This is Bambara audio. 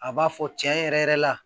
A b'a fɔ cɛn yɛrɛ yɛrɛ la